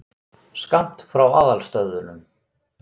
Skammt frá aðalstöðvunum.